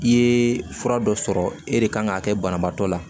I ye fura dɔ sɔrɔ e de kan k'a kɛ banabaatɔ la